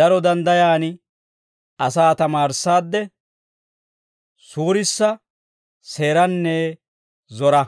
Daro danddayan asaa tamaarissaadde suurissa, seeranne zora.